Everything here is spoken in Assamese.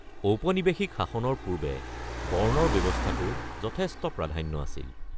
ঔপনিবেশিক শাসনৰ পূৰ্বে বৰ্ণৰ ব্যৱস্থাটোৰ যথেষ্ট প্ৰাধান্য আছিল।